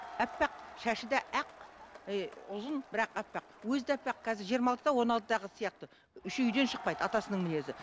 аппақ шашы да ақ ы ұзын бірақ аппақ өзі де аппақ қазір жиырма алтыда он алтыдағы қыз сияқты еще үйден шықпайды атасының мінезі